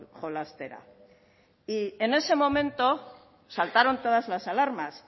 jolastera y en ese momento saltaron todas las alarmas